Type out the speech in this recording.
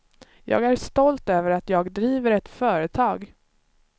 Jag är stolt över att jag driver ett företag.